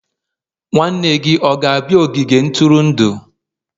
nwanne gị ọ ga-abịa n'ogige ntụrụndụ?